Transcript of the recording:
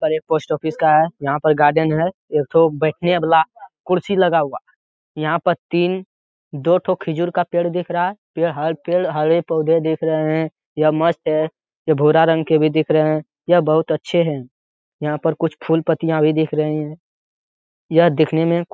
और एक post office का है। यहाँ पर गार्डन है एक ठो बैठने वाला कुर्सी लगा हुआ। यहाँ पर तीन दो ठो खजूर का पेड़ दिख रहा है। पेड़ हरे पौधे दिख रहे है यह मस्त है। ये भूरा रंग के भी दिख रहे। यह बहुत अच्छे है। यहाँ पर कुछ फूल पत्तियां भी दिख रही है। यह दिखने में --